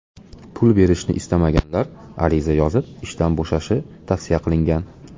Pul berishni istamaganlar ariza yozib ishdan bo‘shashi tavsiya qilingan.